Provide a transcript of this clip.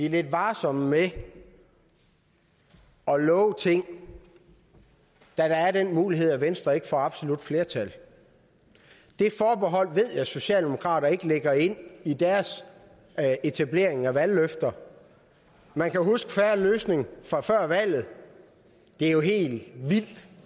er lidt varsomme med at love ting da der er den mulighed at venstre ikke får absolut flertal det forbehold ved jeg at socialdemokraterne ikke lægger ind i deres etablering af valgløfter man kan huske en fair løsning fra før valget det er jo helt vildt